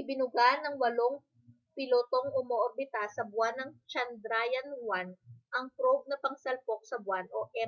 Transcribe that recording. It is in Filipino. ibinuga ng walang-pilotong umoorbita sa buwan na chandrayaan 1 ang probe na pangsalpok sa buwan